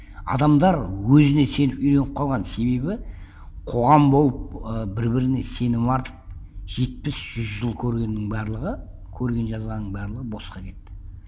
адамдар өзіне сеніп үйреніп қалған себебі қоғам болып ы бір біріне сенім артып жетпіс жүз жыл көргеннің барлығы көрген жазғанның барлығы босқа кетті